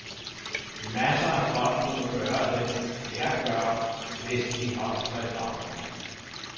Masser af folk kunne gøre det, jeg gør, hvis de holdt sig i baggrunden.